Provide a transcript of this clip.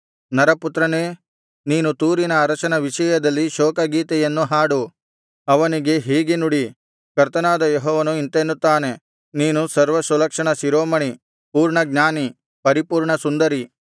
ನರಪುತ್ರನೇ ನೀನು ತೂರಿನ ಅರಸನ ವಿಷಯದಲ್ಲಿ ಶೋಕ ಗೀತೆಯನ್ನು ಹಾಡು ಅವನಿಗೆ ಹೀಗೆ ನುಡಿ ಕರ್ತನಾದ ಯೆಹೋವನು ಇಂತೆನ್ನುತ್ತಾನೆ ನೀನು ಸರ್ವಸುಲಕ್ಷಣ ಶಿರೋಮಣಿ ಪೂರ್ಣಜ್ಞಾನಿ ಪರಿಪೂರ್ಣಸುಂದರಿ